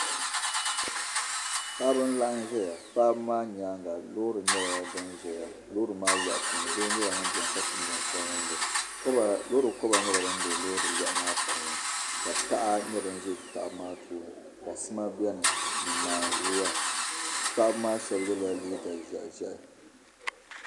Paɣiba n laɣim zaya paɣiba nyaaŋa lɔɔri nyala din zaya lɔɔri maa lɔɣu puuni doo nyala ŋum be ni ka so nen sabinli lɔɔri kɔba nyɛla. din be lɔɔri. lɔɣu maa puuni. ka taha za paɣi maa. tooni. kasima beni ni naanzua paɣiba maa. sheb yela liiga zɛhi zɛhi.